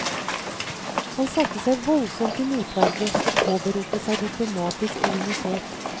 Han satte seg voldsomt til motverge og påberopte seg diplomatisk immunitet.